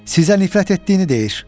Sizə nifrət etdiyini deyir.